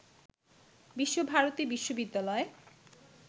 বিশ্বভারতী বিশ্ববিদ্যালয়